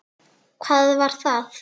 Hvað var það?